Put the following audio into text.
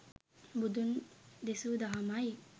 බුදුන් දෙසූ දහමයි